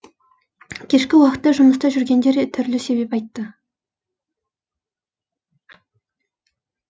кешкі уақытта жұмыста жүргендер түрлі себеп айтты